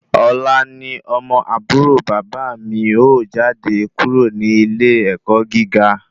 Ọ̀la ni ọmọ àbúrò bàbá mi ó jáde kúrò ní ilé ẹ̀kọ́ gíga